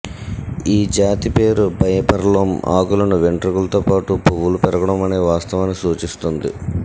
ఈ జాతి పేరు బైఫర్లోం ఆకులను వెంట్రుకలతో పాటు పువ్వులు పెరగడం అనే వాస్తవాన్ని సూచిస్తుంది